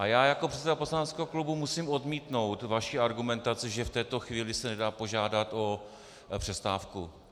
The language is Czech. A já jako předseda poslaneckého klubu musím odmítnout vaši argumentaci, že v této chvíli se nedá požádat o přestávku.